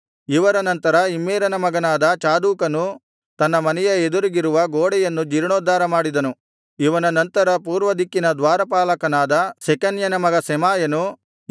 ಇವರ ನಂತರ ಇಮ್ಮೇರನ ಮಗನಾದ ಚಾದೋಕನು ತನ್ನ ಮನೆಯ ಎದುರಿಗಿರುವ ಗೋಡೆಯನ್ನು ಜೀರ್ಣೋದ್ಧಾರ ಮಾಡಿದನು ಇವನ ನಂತರ ಪೂರ್ವದಿಕ್ಕಿನ ದ್ವಾರಪಾಲಕನಾದ ಶೆಕನ್ಯನ ಮಗ ಶೆಮಾಯನು